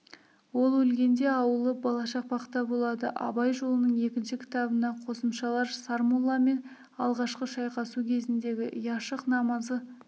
ол өлгенде аулы балашақпақта болады абай жолының екінші кітабына қосымшалар сармолламен алғашқы шайқасу кезіндегі яшық намазы